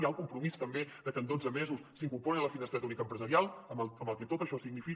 hi ha el compromís també de que en dotze mesos s’incorporin a la finestreta única empresarial amb el que tot això significa